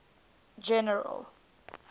general